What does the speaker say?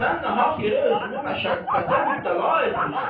Sən nahaq yerə özünü məşəqqətə mübtəla eləyirsən.